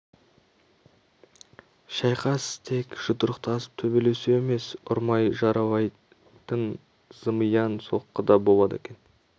шайқас тек жұдырықтасып төбелесу емес ұрмай жаралайтын зымиян соққы да болады екен